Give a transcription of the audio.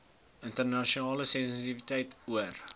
internasionale sensitiwiteit oor